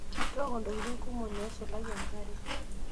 Tooko ntokitin kumok neisulaki enkare.